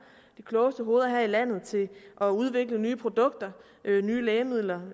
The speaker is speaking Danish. de klogeste hoveder her i landet til at udvikle nye produkter nye lægemidler